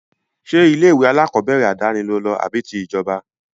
Ṣé ilé-ìwé alákọọ́bẹ̀rẹ̀ àdáni lo lọ àbí ti ìjọba?